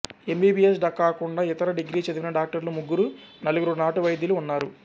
MBBS కాకుండా ఇతర degree చదివిన డాక్టర్లు ముగ్గురునలుగురు నాటు వైద్యులు ఉన్నారు